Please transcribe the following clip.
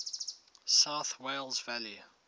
south wales valleys